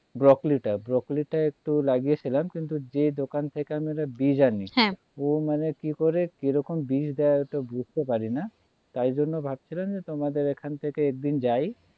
broccoli টা broccoli টা একটু লাগিয়েছিলাম কিন্তু যে দোকান থেকে আমরা বীজ আনি হ্যাঁ ও মানে কি করে কিরকম বীজ দেয় ওটা বুঝতে পারিনা তার জন্য ভাবছিলাম তোমাদের এখান থেকে একদিন যাই